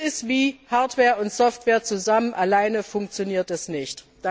Das ist wie Hardware und Software zusammen alleine funktioniert es nicht.